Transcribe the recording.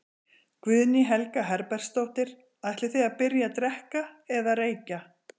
Guðný Helga Herbertsdóttir: Ætlið þið að byrja að drekka eða reykja?